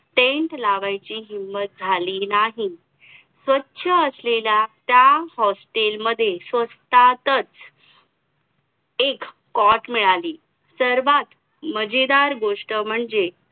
paint लावायची हिम्मत झाली नाही स्वच असलेल्या त्या hostel मध्ये स्वस्तातच एक कॉट मिळाली सर्वात मजेदार गोष्ट म्हणजे